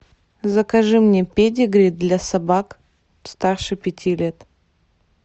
закажи мне педигри для собак старше пяти лет